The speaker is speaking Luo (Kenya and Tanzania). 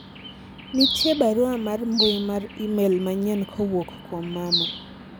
nitie barua mar mbui mar email manyien kowuok kuom mama